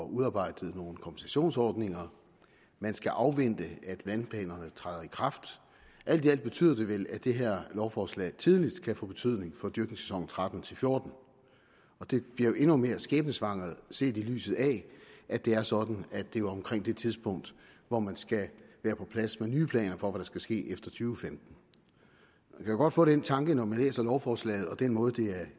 udarbejdet nogle kompensationsordninger man skal afvente at vandplanerne træder i kraft alt i alt betyder det vel at det her lovforslag tidligst kan få betydning for dyrkningssæsonen tretten til fjorten og det bliver endnu mere skæbnesvangert set i lyset af at det er sådan at det jo er omkring det tidspunkt hvor man skal være på plads med nye planer for hvad der skal ske efter to tusind og kan godt få den tanke når man læser lovforslaget og den måde det er